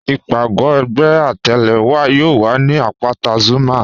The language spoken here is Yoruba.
Ìpagò ẹgbẹ̀ àtẹle wa yóò wà ni apátà Zuma.